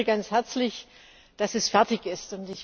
Ich gratuliere ganz herzlich, dass es fertig ist.